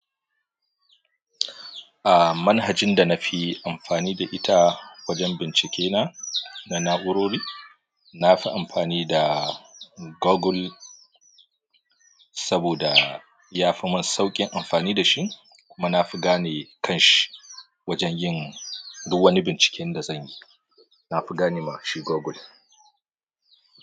A manhajin da na fi amfani da ita wajen bincike na na na'urori, na fi amfani da Google saboda ya fi mun sauƙin amfani da shi kuma na fi gane kan shi wajen yin duk wani binciken da zan yi. Na fi gane mashi Google.